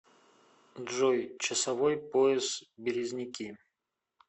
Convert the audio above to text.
джой часовой пояс березники